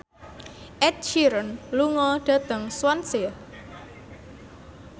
Ed Sheeran lunga dhateng Swansea